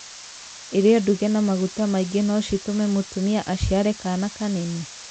Irio nduge na maguta maingĩ no citûme mũtumia aciare kana kanene?